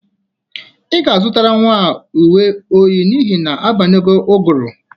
Ị ga-azụtara nwa a uwe oyi n'ihi na abanyego ụgụrụ!